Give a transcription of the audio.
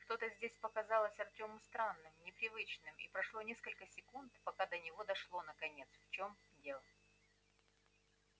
что-то здесь показалось артёму странным непривычным и прошло несколько секунд пока до него дошло наконец в чем дело